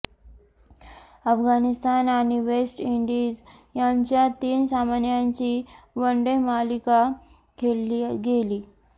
अफगाणिस्तान आणि West Indies यांच्यात तीन सामन्यांची वनडे मालिका खेळली गेली